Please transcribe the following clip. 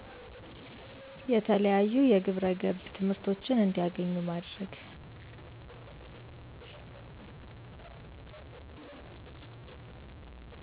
የተለያዩ ግብረገብ ትምህርቶችን እንዲያገኙ ማድረግ